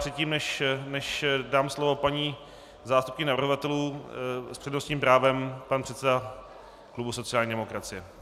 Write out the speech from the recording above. Předtím než dám slovo paní zástupkyni navrhovatelů, s přednostním právem pan předseda klubu sociální demokracie.